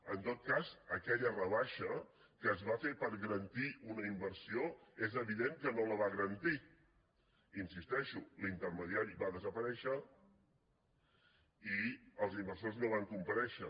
en tot cas aquella rebaixa que es va fer per garantir una inversió és evident que no la va garantir hi insisteixo l’intermediari va desaparèixer i els inversors no van comparèixer